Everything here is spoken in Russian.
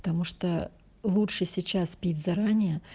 потому что лучше сейчас пить заранее